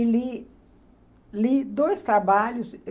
E li, li dois trabalhos.